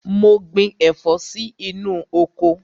Mo gbin ẹ̀fọ́ sí inú oko.